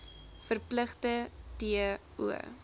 verpligting t o